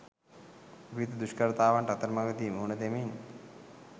විවිධ දුෂ්කරතාවන්ට අතරමගදී මුහුණ දෙමින්